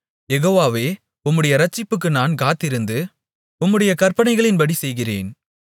யெகோவாவே உம்முடைய இரட்சிப்புக்கு நான் காத்திருந்து உம்முடைய கற்பனைகளின்படி செய்கிறேன்